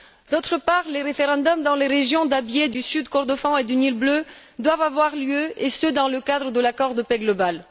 D'autre part, les référendums dans les régions d'Abyei, du Sud Kordofan et du Nil bleu doivent avoir lieu et ce dans le cadre de l'accord de paix global.